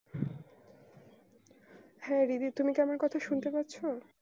হ্যাঁ দিদি তুমি কি আমার কথা শুনতে পারছো?